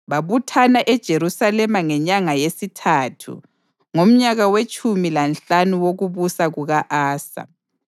Babuthana eJerusalema ngenyanga yesithathu ngomnyaka wetshumi lanhlanu wokubusa kuka-Asa.